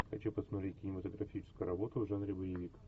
хочу посмотреть кинематографическую работу в жанре боевик